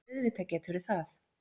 Auðvitað geturðu það!